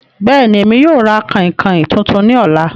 Bẹ́ẹ̀ni, Emi yóò ra kainkain tuntun ni ọla